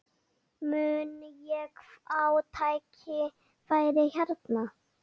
Mun ég fá tækifæri hérna?